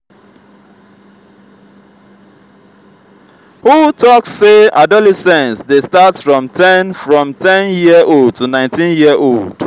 who talk say adolescence de start from ten from ten year old to 19 year old